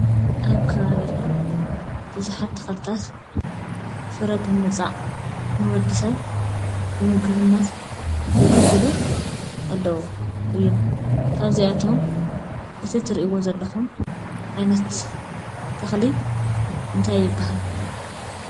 ኣብ ከባቢና ብዙሓት ተኽልታት ፍረ ብምውፃእ ንወዲ ሰብ ብምግብነት ዘገልግሉ ኣለዉ እዮም፡፡ ካብዚኣቶም እቲ ትሪእዎ ዘለኹም ዓይነት ተኽሊ እንታይ ይበሃል?